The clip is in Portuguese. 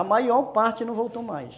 A maior parte não voltou mais.